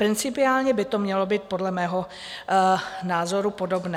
Principiálně by to mělo být podle mého názoru podobné.